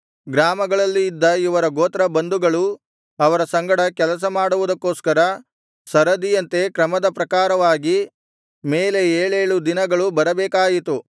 ಗ್ರಾಮಗಳಲ್ಲಿ ಇದ್ದ ಅವರ ಗೋತ್ರ ಬಂಧುಗಳು ಅವರ ಸಂಗಡ ಕೆಲಸ ಮಾಡುವುದಕ್ಕೊಸ್ಕರ ಸರದಿಯಂತೆ ಕ್ರಮದ ಪ್ರಕಾರವಾಗಿ ಮೇಲೆ ಏಳೇಳು ದಿನಗಳು ಬರಬೇಕಾಯಿತು